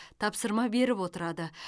тапсырма беріп отырады